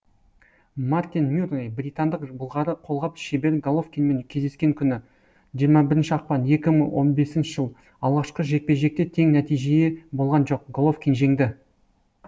мартин мюррей британдық былғары қолғап шебері головкинмен кездескен күні жиырма бірінші ақпан екі мың он бесінші жыл алғашқы жекпе жекте тең нәтиже болған жоқ головкин жеңді